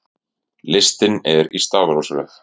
Listinn er í stafrófsröð.